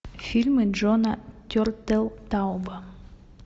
фильмы джона тертелтауба